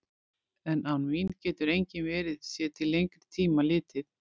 En án mín getur enginn verið, sé til lengri tíma litið.